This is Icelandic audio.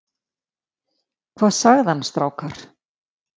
Hvað sagði hann strákar?